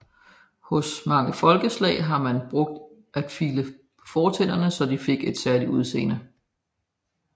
Hos mange folkeslag har man brugt at file på fortænderne så at de fik et særligt udseende